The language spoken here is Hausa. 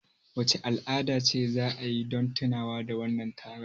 Wace al'ada ce za a yi don tunawa da wannan taron?